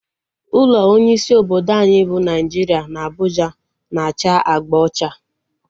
Ụlọ onye isi obodo anyị bụ Naijiria na Abuja na-acha agba ocha